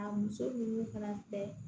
A muso ninnu fana tɛ